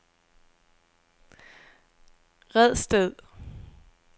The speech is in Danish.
Redsted